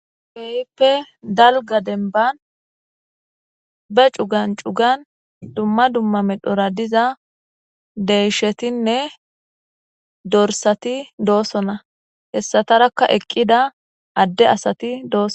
Kehipe dalga denba ba cugan cugan dumma dumma medhora diza deyshatinne dorsati dosona hesatarakka eqida ade asati dosona